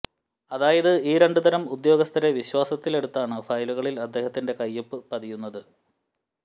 അതായത് ഈ രണ്ടു തരം ഉദ്യോഗസ്ഥരെ വിശ്വാസത്തിലെടുത്താണ് ഫയലുകളിൽ അദ്ദേഹത്തിൻ്റെ കയ്യൊപ്പു പതിയുന്നത്